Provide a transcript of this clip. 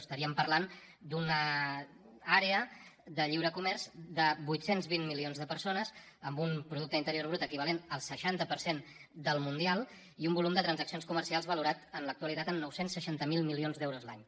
estaríem parlant d’una àrea de lliure comerç de vuit cents i vint milions de persones amb un producte interior brut equivalent al seixanta per cent del mundial i un volum de transaccions comercials valorat en l’actualitat en nou cents i seixanta miler milions d’euros l’any